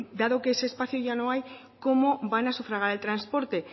dado que ese espacio ya no hay cómo van a sufragar el transporte